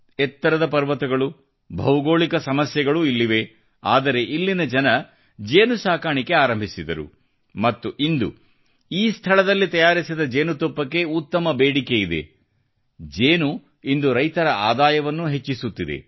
ಎತ್ತರದ ಪರ್ವತಗಳು ಭೌಗೋಳಿಕ ಸಮಸ್ಯೆಗಳು ಇಲ್ಲಿವೆ ಆದರೆ ಇಲ್ಲಿನ ಜನರು ಜೇನುನೊಣ ಸಾಕಾಣಿಕೆ ಪ್ರಾರಂಭಿಸಿದರು ಮತ್ತು ಇಂದು ಈ ಸ್ಥಳದಲ್ಲಿ ತಯಾರಿಸಿದ ಜೇನುತುಪ್ಪಕ್ಕೆ ಉತ್ತಮ ಬೇಡಿಕೆಯಿದೆ ಜೇನು ಇಂದು ರೈತರ ಆದಾಯವನ್ನೂ ಹೆಚ್ಚಿಸುತ್ತಿದೆ